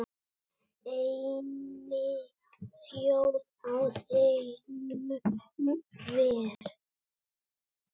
Einnig þjó á þegnum ver.